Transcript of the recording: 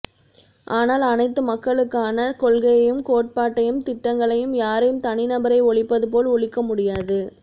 ஆனால் அனைத்து மக்களுக்கான கொள்கையையும் கோட்பாட்டையும் திட்டங்களையும் யாரும் தனிநபரை ஒழிப்பதுபோல் ஒழிக்கமுடியாது